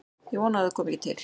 Ég vona að það komi ekki til.